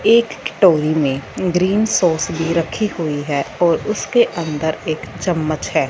एक कटोरी में ग्रीन सॉस भी रखी हुई है और उसके अंदर एक चम्मच है।